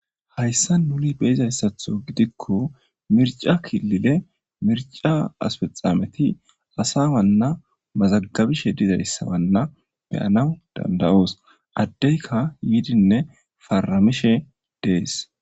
Hayssa muli beizayssatho gidikko mirca killile mirca aspexameti asa wanna mazagabishe dizayssawanna beyanaw dandayoos addeyka yiidinne paramishe dees.